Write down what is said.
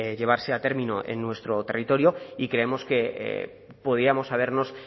llevarse a término en nuestro territorio y creemos que podíamos habernos